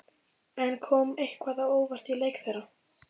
En kom eitthvað á óvart í leik þeirra?